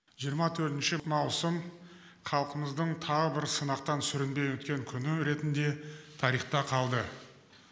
жиырма төртінші маусым халқымыздың тағы бір сынақтан сүрінбей өткен күні ретінде тарихта қалды